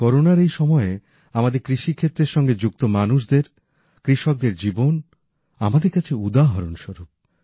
করোনার এই সময়ে আমাদের কৃষি ক্ষেত্রের সঙ্গে যুক্ত মানুষদের কৃষকদের জীবন আমাদের কাছে উদাহরণস্বরূপ